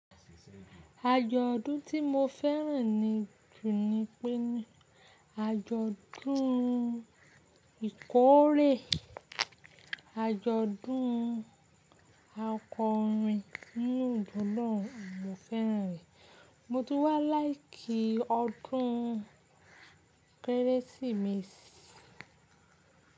Ajọ́dún tí mo fẹ́ràn jù ni pé ní ájọ́dún Ìkórè, ájọ́dún Akọrin, inú ìbò lọ́ọ̀n mo fẹ́ràn rẹ̀. Mo tú wá láìkí ọdún Kẹ́rẹ́sìmẹsì.